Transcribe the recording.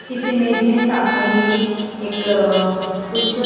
इस इमेज में सामने ही एक कुछ--